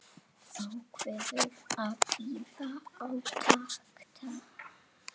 Ákveður að bíða átekta.